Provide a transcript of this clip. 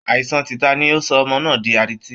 Aìsàan tìta ni ó sọ ọmọ náà di adití